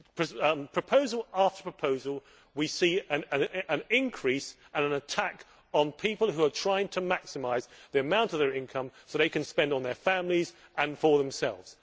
In proposal after proposal, we see an increase and an attack on people who are trying to maximise the amount of their income that they can spend on their families and themselves.